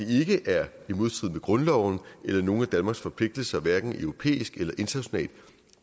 ikke er i modstrid med grundloven eller nogen af danmarks forpligtelser hverken europæisk eller bredere internationalt